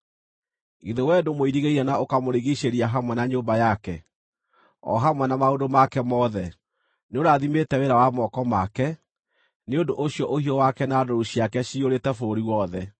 Githĩ wee ndũmũirigĩire na ũkamũrigiicĩria hamwe na nyũmba yake, o hamwe na maũndũ make mothe? Nĩũrathimĩte wĩra wa moko make, nĩ ũndũ ũcio ũhiũ wake na ndũũru ciake ciyũrĩte bũrũri wothe.